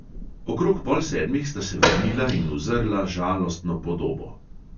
Okrog pol sedmih sta se vrnila in uzrla žalostno podobo.